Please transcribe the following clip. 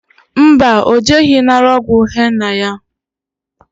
Mba, o jeghi nara ogwu henna ya